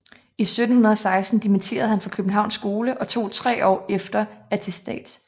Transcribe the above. I 1716 dimitteredes han fra Københavns Skole og tog 3 år efter attestats